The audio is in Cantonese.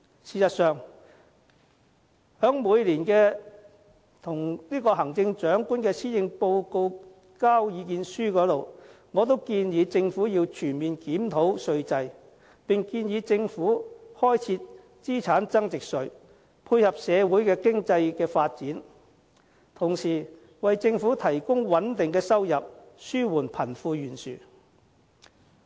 事實上，在每年交給行政長官的施政報告意見書裏，我都建議政府要全面檢討稅制，並建議政府開設資產增值稅，配合社會經濟的發展，同時為政府提供穩定的收入，紓緩貧富懸殊。